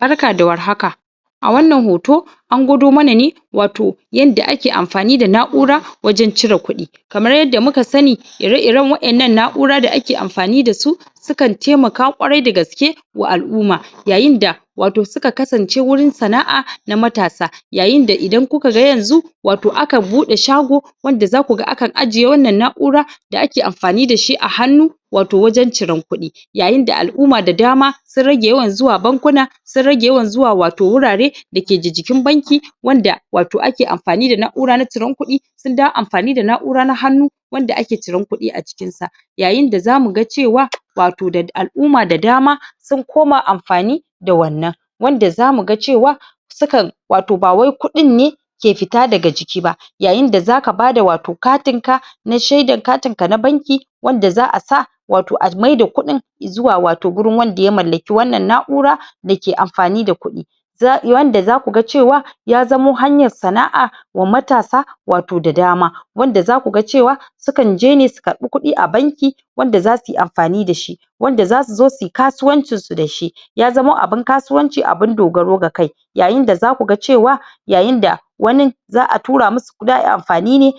barka da war haka a wannan hoto an gwado mana ne wato yanda ake amfani da na'ura wajen cire kudi kamar yadda muka sani ire iren wa'ennan na'ura dake amfani dasu sukan taimaka kwarai dagaske wa al'umma yayin da wato suka kasance wurin sana'a na matasa yayin da idan kuka ga yanzu aka bude shago wanda zakuga akan ajiye wannan na'ura da ake amfani dashi a hannu wato wajen ciren kudi yayin da al'umma da dama sun rage yawan zuwa bankuna sunrage yawan zuwa wato wurare dake jikin banki wanda wato ake amfani da na'ura na ciren kudi sun dawo amfani da na'ura na hannu wanda ake ciren kudi a cikin sa yayin da zamu ga cewa wato al'umma da dama sun koma amfani da wannan wanda zamu ga cewa su kan bawai kudin ne ke fita daga ciki ba yayin da zaka bada wato katin ka na shedan katin ka na banki wanda za'a sa wato a maida kudin zuwa gurin wanda ya mallaki wannan na'ura dake amfani da kudi wanda zaku ga cewa ya zamo hanyan sana'a wa matasa wato da dama wanda zaku ga cewa sukan je ne su karbi kudi a banki wanda zasuyi amfani dashi wanda zasu zo suyi kasuwancin su dashi ya zamo abun kasuwanci abun dogaro ga kai yayin da zaku ga cewa yayin da wanin za'a tura musu za'ayi amfani ne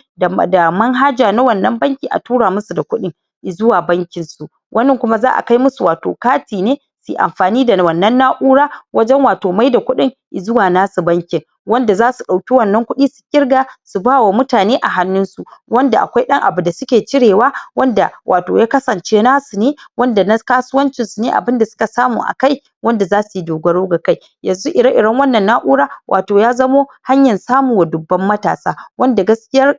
da man haja na wannan banki a tura musu da kudi zuwa bankin su wanin kuma za'a kai musu wato kati ne suyi amfani da wannan na'ura wajen wato maida kudin zuwa nasu bankin wanda zasu dauki wannan kudi su kirga su bawa mutane a hannun su wanda akwai dan abu da suke cire wa wanda wato ya kasance nasu ne wanda na kasuwancin su ne abun da suka samu a kai wanda zasuyi dogaro ga kai yanzu ire iren wannan na'ura wato ya zamo hanyan samu wa dubban matasa wanda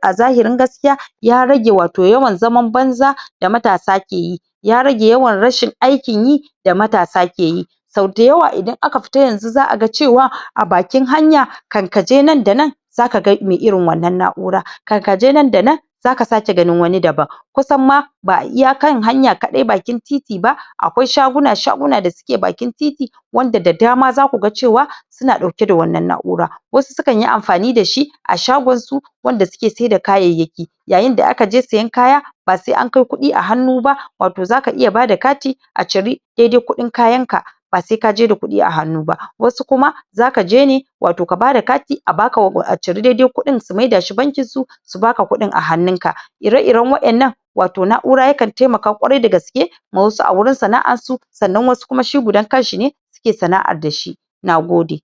a zahirin gaskiya ya rage wato yawan zaman banza da matasa ke yi ya rage yawan rashin aikin yi da matasa ke yi sau dayawa idan aka fita yanzu za'aga cewa a bakin hanya kan kaje nan da nan zaka ga mai irin wa'ennan na'ura kan kaje nan da nan zaka sake ganin wani daban kusan ma ba iya kan hanya ma kadai bakin titi ba akwai shaguna shaguna da suke bakin titi wanda da dama zaku ga cewa suna dauke da wannan na'ura wasu su kanyi amfani dashi a shagon su wanda suke saida kayayyaki yayin da aka je siyan kaya ba sai an kai kudi a hannu ba wato zaka iya bada kati a cire daidai kudin kayan ka ba sai kaje da kudi a hannu ba wasu kuma zaka je ne wato ka bada kati a baka a cire daidai kudin su maida shi bankin su su baka kudin a hannun ka ire iren wa'ennan wato na'ura yakan taiamaka kwarai dagaske ma wasu a wurin sana'ar su sannan wasu kuma shi gudan kanshi ne suke sana'ar dashi nagode